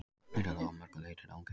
Þetta er þó að mörgu leyti ranghermi.